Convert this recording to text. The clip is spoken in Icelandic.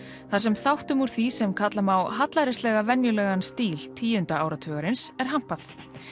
þar sem þáttum úr því sem kalla má hallærislega venjulegan stíl tíunda áratugarins er hampað